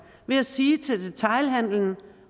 ved at sige til detailhandelen